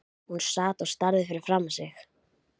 Hún sat og starði framfyrir sig.